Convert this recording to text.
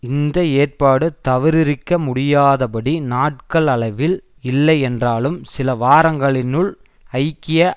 இந்த ஏற்பாடு தவிரிர்க்க முடியாதபடி நாட்கள் அளவில் இல்லை என்றாலும் சில வாரங்களினுள் ஐக்கிய